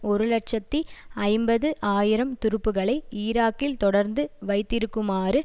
ஒரு இலட்சத்தி ஐம்பது ஆயிரம் துருப்புக்களை ஈராக்கில் தொடர்ந்து வைத்திருக்குமாறு